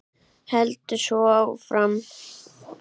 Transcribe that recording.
Heldur svo áfram: